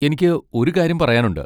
എനിക്ക് ഒരു കാര്യം പറയാനുണ്ട്.